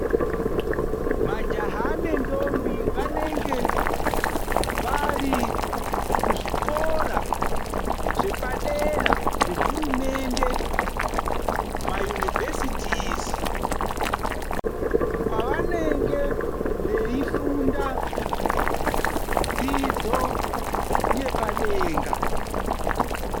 Majaha nendombi vanenge vari kuzvikora zvepadera zvehurumendemaunivhezitizi kwavanenge veifunda dzidzo yepadera .